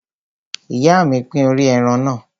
Ìyá mi pín orí ẹran náà.